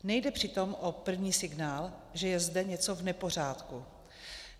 Nejde přitom o první signál, že je zde něco v nepořádku.